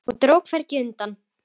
Og dró hvergi undan.